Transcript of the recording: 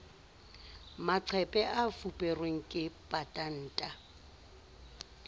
maqephe a fuperweng ke patanta